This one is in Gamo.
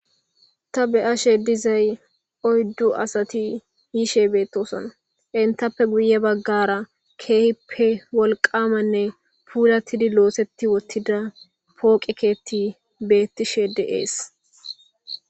Ta beyashe dizzay oydu asati yishe betosona etappe guye bagara kehippe wolgamanne fulati loseti wotida poqqe keethi betishe dees